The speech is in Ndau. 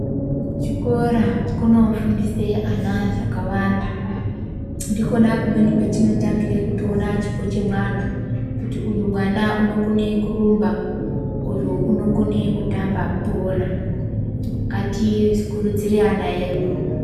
Ku chikora kuno fundise ana zvakawanda ndikona kumweni kwetino tangire kuto ona chipo chemwana kuti uyu mwana uno kone kurumba uyu unokone kutamba bhora ngati kurudzirei ana edu.